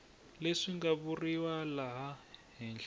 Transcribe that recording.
leswi nga vuriwa laha henhla